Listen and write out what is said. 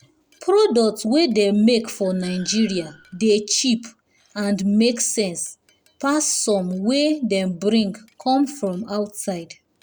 product wey dem make for nigeria dey cheap and make sense pass some wey dem bring come from outside.